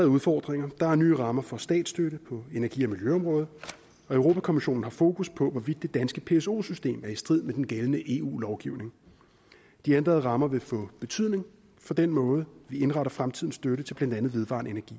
udfordringer der er nye rammer for statsstøtte på energi og miljøområdet og europa kommissionen har fokus på hvorvidt det danske pso system er i strid med den gældende eu lovgivning de ændrede rammer vil få betydning for den måde vi indretter fremtidens støtte til blandt andet vedvarende energi